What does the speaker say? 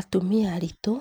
Atumia aritũ